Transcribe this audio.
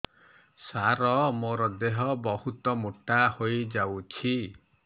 ସାର ମୋର ଦେହ ବହୁତ ମୋଟା ହୋଇଯାଉଛି